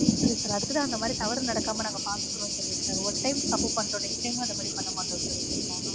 இல்ல sir. அதுக்கு தான் அந்த மாதிரி தவறு நடக்காம நாங்க பார்த்துக்குறோம் சொல்லிட்றோம் sir ஒரு time தப்பு பண்ணிட்டோம் next time அந்த மாதிரி பண்ண மாட்டோம் sir okay ங்லா?